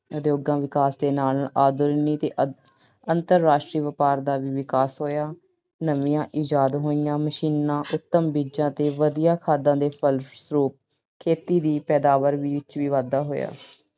ਉਦਯੋਗਾਂ ਵਿਕਾਸ ਦੇ ਨਾਲ-ਨਾਲ ਆਧੁਨਿਕ ਅਹ ਅੰਤਰਰਾਸ਼ਟਰੀ ਵਪਾਰ ਦਾ ਵੀ ਵਿਕਾਸ ਹੋਇਆ। ਨਵੀਆਂ ਇਜਾਦ ਹੋਈਆਂ machines, ਉਤਮ ਬੀਜਾਂ ਤੇ ਵਧੀਆ ਖਾਦਾਂ ਦੇ ਫਲਸਰੂਪ ਖੇਤੀ ਦੀ ਪੈਦਾਵਾਰ ਵਿੱਚ ਵੀ ਵਾਧਾ ਹੋਇਆ।